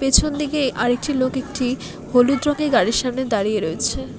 পেছনদিকে আরেকটি লোক একটি হলুদ রঙের গাড়ির সামনে দাঁড়িয়ে রয়েছে।